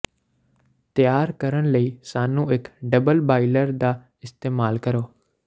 ਤਿਆਰ ਕਰਨ ਲਈ ਸਾਨੂੰ ਇੱਕ ਡਬਲ ਬਾਇਲਰ ਦਾ ਇਸਤੇਮਾਲ ਕਰੋ